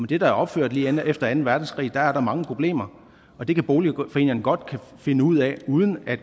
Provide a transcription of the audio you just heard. det der er opført lige efter anden verdenskrig er der mange problemer og det kan boligforeningerne godt finde ud af uden at